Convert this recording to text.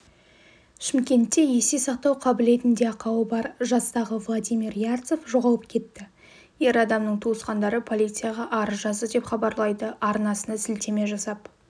шымкентте есте сақтау қабілетінде ақауы бар жастағывладимир ярцев жоғалып кетті ер адамның туысқандары полицияға арыз жазды деп хабарлайды арнасына сілтеме жасап